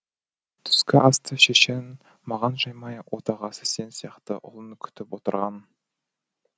түскі асты шешең маған жаймай отағасы сен сияқты ұлын күтіп отырған